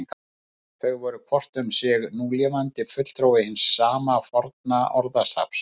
Þau eru hvort um sig núlifandi fulltrúi hins sama forna orðstofns.